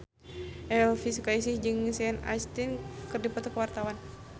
Elvi Sukaesih jeung Sean Astin keur dipoto ku wartawan